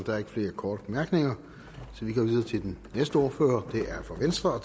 der er ikke flere korte bemærkninger så vi går videre til den næste ordfører det er fra venstre og